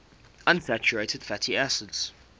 unsaturated fatty acids